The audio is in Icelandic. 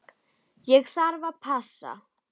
Ég þarf að passa.